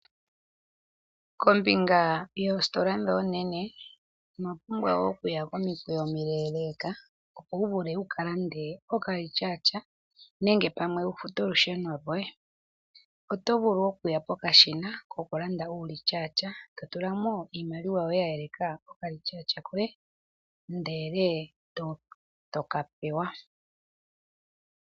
Kombinga yoositola ndho oonene ino pumbwa okuya komikweyo omileleeka opo wu vule wu kalande okalityaatya nenge pamwe wu fute olusheno lwoye. Oto vulu okuya pokashina kokulanda uulityaatya to tula mo iimaliwa ye eleka okalityaatya koye ndele eto ka pewa.